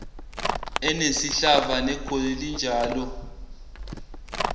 enesihlava negoli linjalo